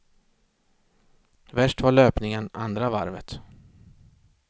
Värst var löpningen, andra varvet.